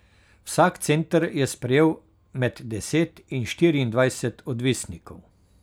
Vsak center je sprejel med deset in štiriindvajset odvisnikov.